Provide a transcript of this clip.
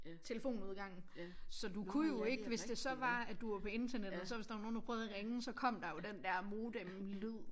Telefon udgangen. Så du kunne jo ikke hvis det så var at du var på internettet og så hvis der var nogen der prøvede at ringe så kom der jo den der modemlyd